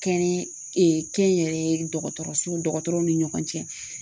Kɛɲɛ kɛnyɛrɛye dɔgɔtɔrɔsow dɔgɔtɔrɔw ni ɲɔgɔn cɛ.